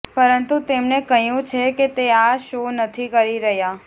પરંતુ તેમણે કહ્યું છે કે તે આ શો નથી કરી રહ્યા